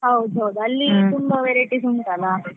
ಹೌದು ಹೌದು. ಅಲ್ಲಿ ತುಂಬಾ varieties ಉಂಟ್ ಅಲ್ಲಾ.